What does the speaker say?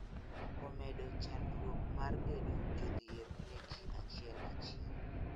Omedo chandruok mar bedo jodhier ne ji achiel achiel